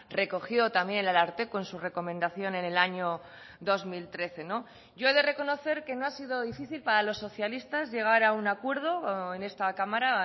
recogió también el ararteko en su recomendación en el año dos mil trece yo he de reconocer que no ha sido difícil para los socialistas llegar a un acuerdo en esta cámara